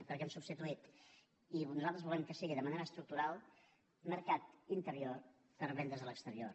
perquè hem substituït i nosaltres volem que sigui de manera estructural mercat interior per vendes a l’exterior